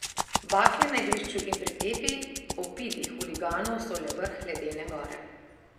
Bakle na igrišču in pretepi opitih huliganov so le vrh ledene gore.